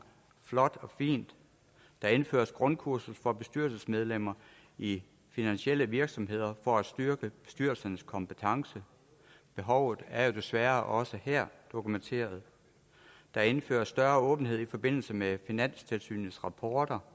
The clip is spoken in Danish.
flot og fint der indføres grundkursus for bestyrelsesmedlemmer i finansielle virksomheder for at styrke bestyrelsernes kompetence behovet er jo desværre også her dokumenteret der indføres større åbenhed i forbindelse med finanstilsynets rapporter